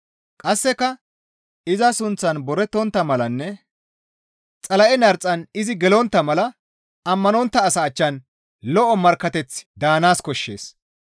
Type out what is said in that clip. Qasseka iza sunththan boretontta malanne Xala7e narxan izi gelontta mala ammanontta asaa achchan lo7o markkateththi daanaas koshshees.